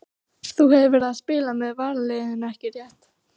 Þú hefur verið að spila með varaliðinu ekki rétt?